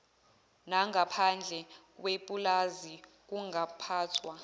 nangaphandle kwepulazi kungaphathwa